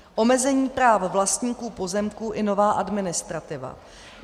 Omezení práv vlastníků pozemků i nová administrativa.